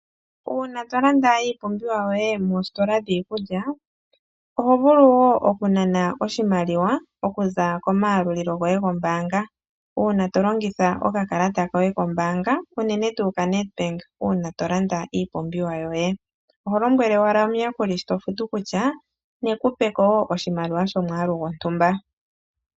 Uuna tolanda iipumbiwa yoye moositola dhiikulya, oho vulu wo okunana oshimaliwa, okuza komayalulilo goye gombaanga. Uuna tolongitha okakalata koye kombaanga, uunene tuu kaNEDBANK uuna tolanda iimpumbiwa yoye. Oho lombwele owala omuyakuli sho tofutu kutya, nekupeko wo oshimaliwa shomwaalu gwomtumba.